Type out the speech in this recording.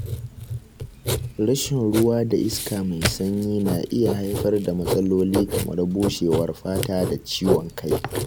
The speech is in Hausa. Rashin ruwa da iska mai sanyi na iya haifar da matsaloli kamar bushewar fata da ciwon kai.